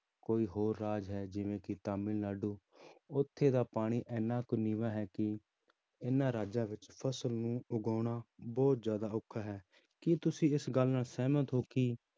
ਕੋਈ ਹੋਰ ਰਾਜ ਹੈ ਜਿਵੇਂ ਕਿ ਤਾਮਿਲਨਾਡੂ ਉੱਥੇ ਦਾ ਪਾਣੀ ਇੰਨਾ ਕੁ ਨੀਵਾਂ ਹੈ ਕਿ ਇਹਨਾਂ ਰਾਜਾਂ ਵਿੱਚ ਫ਼ਸਲ ਨੂੰ ਉਗਾਉਣਾ ਬਹੁਤ ਜ਼ਿਆਦਾ ਔਖਾ ਹੈ, ਕੀ ਤੁਸੀਂ ਇਸ ਗੱਲ ਨਾਲ ਸਹਿਮਤ ਹੋ ਕਿ